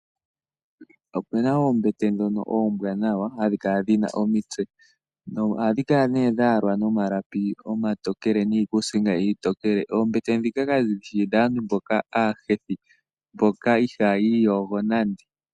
Opena oombete ndhono oombwanawa hadhi kala dhina omitse. Ohashi kala dhayalwa nomalapi omatokele niikusinga iitokele. Oombete ndhika kadhishi dhaantu mboka aahethi mboka ihaa yiiyogo nande.